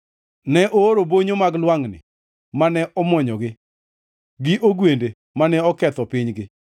Ne ooro bonyo mag lwangʼni mane omwonyogi, gi ogwende mane oketho pinygi.